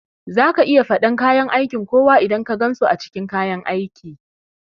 Zaka iya faɗan aiki kowa idan ka gansu a cikin kayan aiki